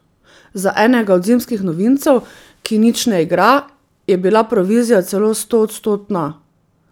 Za enega od zimskih novincev, ki nič ne igra, je bila provizija celo stoodstotna!